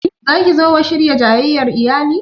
Za ki zo wa shirya jayayyar iyali?